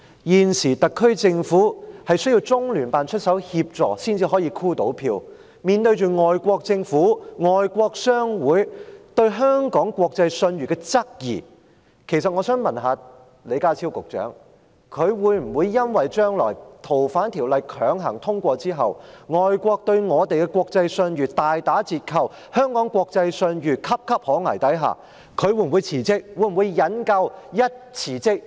現時特區政府需要中聯辦出手協助才能夠"箍票"，面對着外國政府、外國商會對香港國際信譽的質疑，其實我想問李家超局長，如果《條例草案》被強行通過之後，將來外國對香港的國際信譽大打折扣，在香港國際信譽岌岌可危的情況下，他會否因此辭職？